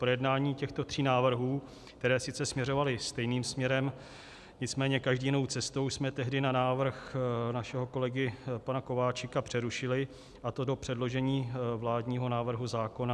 Projednání těchto tří návrhů, které sice směřovaly stejným směrem, nicméně každý jinou cestou, jsme tehdy na návrh našeho kolegy pana Kováčika přerušili, a to do předložení vládního návrhu zákona.